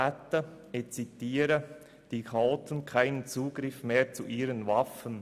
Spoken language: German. Dadurch hätten die Chaoten keinen Zugriff mehr zu ihren Waffen.